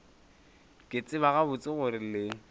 ke tseba gabotse gore le